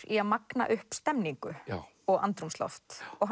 í að magna upp stemningu og andrúmsloft og